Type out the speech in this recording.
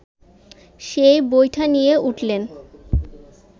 সেই বৈঠা নিয়ে উঠলেন